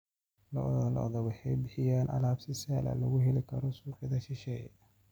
Lo'da lo'da waxay bixiyaan alaab si sahal ah looga heli karo suuqyada shisheeye.